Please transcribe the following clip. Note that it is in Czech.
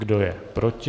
Kdo je proti?